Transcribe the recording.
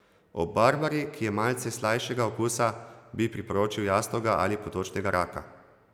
Ob barbari, ki je malce slajšega okusa, bi priporočil jastoga ali potočnega raka.